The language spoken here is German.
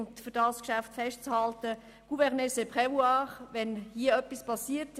Wenn etwas geschieht, dann muss die Regierung handeln.